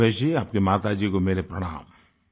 रमेश जी आपकी माताजी को मेरी प्रणाम